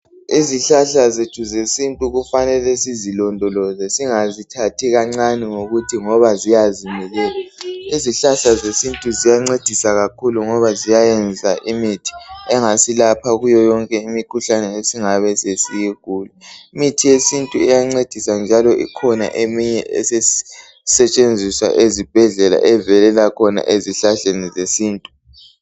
Izihlahla zethu zesintu kufanele sizilondoloze singazithathi kancani ngokuthi ngoba ziyazimilela izihlahla zethu ziyancedisa kakhulu ngoba ziyayenza imithi engasilapha kuyo yonke imikhuhlane esingabe siyigula imithi yesintu iyancedisa njalo ikhona eminye esetshenziswa ezibhedlela evelela khona ezihlahleni zesintu